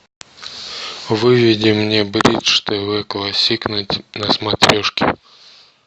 выведи мне бридж тв классик на смотрешке